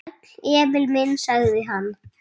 Sæll, Emil minn, sagði hann.